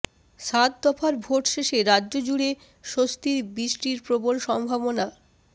সাত দফার ভোট শেষে রাজ্যজুড়ে স্বস্তির বৃষ্টির প্রবল সম্ভাবনা